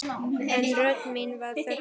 En rödd mín var þögnuð.